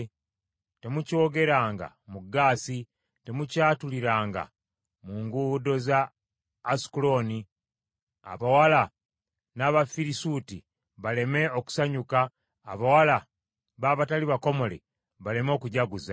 “Temukyogeranga mu Gaasi, temukyatuliranga mu nguudo za Asukulooni, abawala b’Abafirisuuti baleme okusanyuka, abawala b’abatali bakomole baleme okujaguza.